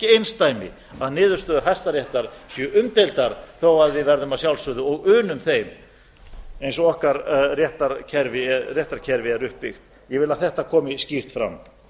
einsdæmi að niðurstöður hæstaréttar séu umdeildar þó við verðum að sjálfsögðu og unum þeim eins og okkar réttarkerfi er uppbyggt ég vil að þetta komi skýrt fram